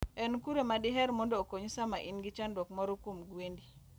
En kure ma diher mondo okonyi sama in gi chandruok moro kuom gwendi?